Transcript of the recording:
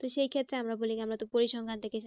তো সেই ক্ষেত্রে আমরা বলি কি আমরা তো পরিসংখ্যানটাকে